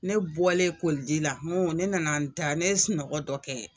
Ne bɔlen koliji la ŋo ne nana n da ne sunɔgɔ dɔ kɛ